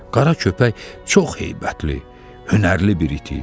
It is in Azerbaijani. Qara köpək çox heybətli, hünərli bir it idi.